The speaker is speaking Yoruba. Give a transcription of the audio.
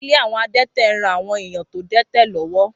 Ilé àwọn adẹ́tẹ̀ ń ran àwọn èèyàn tó dẹ́tẹ̀ lọ́wọ́